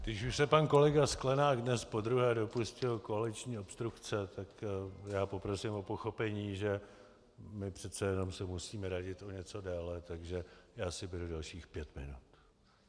Když už se pan kolega Sklenák dnes podruhé dopustil koaliční obstrukce, tak já poprosím o pochopení, že my přece jenom se musíme radit o něco déle, takže já si beru dalších pět minut.